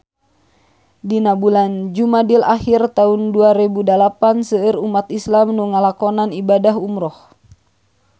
Dina bulan Jumadil ahir taun dua rebu dalapan seueur umat islam nu ngalakonan ibadah umrah